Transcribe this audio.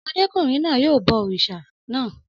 Ọmọdékùnrin náà bọ òrìṣà náà